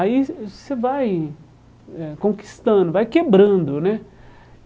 Aí você você vai eh conquistando, vai quebrando, né?